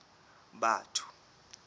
batho